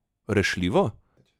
Rešljivo?